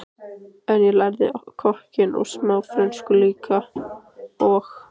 En ég lærði kokkinn og smá frönsku líka og